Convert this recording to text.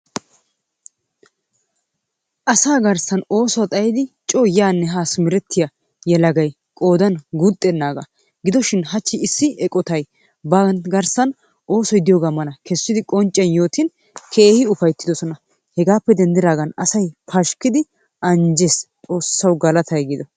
Asaa garssan ooso xayidi coo yaanne haa simerettiya yelagay qoodan guuxxennaagaa. Gidoshin hachchi issi eqotay ba garssan oosoy diyogaa mala kessidi qoncciyan yootin keehi ufayttidosona. Hegaappe denddidaagan asay pashkkidi anjjiis. Xoossawu galatay gido!